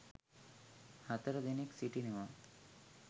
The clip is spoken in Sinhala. හතර දෙනෙක් සිටිනවා.